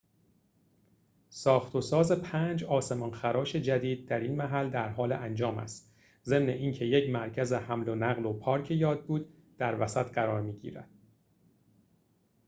ساخت‌وساز پنج آسمان‌خراش جدید در این محل درحال انجام است ضمن اینکه یک مرکز حمل‌ونقل و پارک یادبود در وسط قرار می‌گیرد